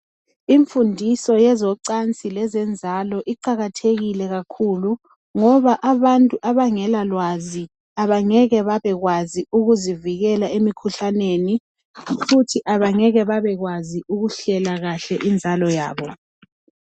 Imfundiso yezocansi lezenzalo iqakathekile kakhulu ngoba abantu abangelalwazi abangeke babekwazi ukuzivikela emikhuhlaneni futhi abangeke babekwazi ukuhlela kahle inzalo yabo